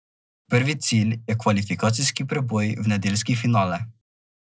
Prvi cilj je kvalifikacijski preboj v nedeljski finale.